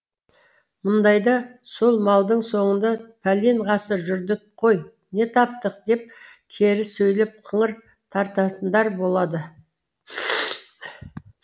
мұндайда сол малдың соңында пәлен ғасыр жүрдік қой не таптық деп кері сөйлеп қыңыр тартатындар болады